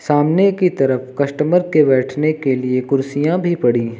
सामने की तरफ कस्टमर के बैठने के लिए कुर्सियां भी पड़ी हैं।